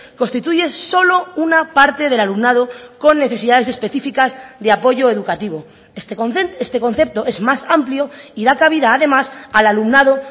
constituye solo una parte del alumnado con necesidades específicas de apoyo educativo este concepto es más amplio y da cabida además al alumnado